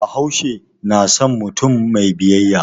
Bahaushe na san mutum mai biyayya.